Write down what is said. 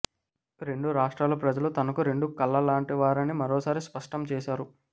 రెండు రాష్ట్రాల ప్రజలు తనకు రెండు కళ్ల లాంటి వారని మరోసారి స్పష్టం చేశారు